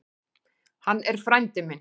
Hann er frændi minn.